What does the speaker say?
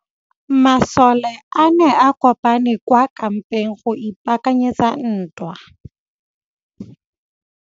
Masole a ne a kopane kwa kampeng go ipaakanyetsa ntwa.